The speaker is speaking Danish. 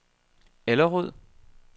Allerød